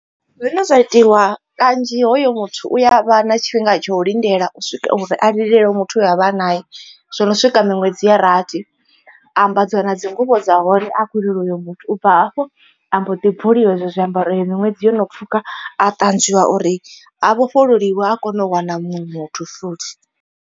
Zwine zwa itiwa kanzhi hoyo muthu u ya vha na tshifhinga tsha u lindela uri a lilele muthu we a vha a naye zwo no swika miṅwedzi ya rathi. Ambadziwa na dzi nguvho dza hone a khou lilela uyo muthu u bva hafho ambo ḓi bvuliwa hezwo zwiambaro iyo miṅwedzi yo no pfhuka a ṱanzwiwa uri a vhofhololiwe a kone u wana muṅwe muthu futhi.